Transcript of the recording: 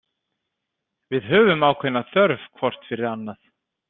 Við höfum ákveðna þörf hvort fyrir annað.